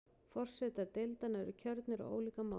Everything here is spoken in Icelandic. Forsetar deildanna eru kjörnir á ólíkan máta.